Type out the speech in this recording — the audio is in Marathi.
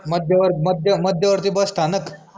मध्यवर मध्य मध्यवर्ती बस स्थानक